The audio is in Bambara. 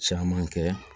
Caman kɛ